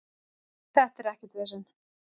Þetta er ekkert vesen.